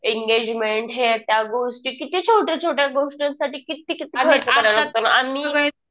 Engagement हे त्या गोष्टी. किती छोट्या छोट्या गोष्टी साठी किती किती खर्च करावा लागतो. आम्ही